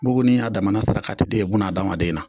Buguni y'a damana sarakati de ye buna adamaden na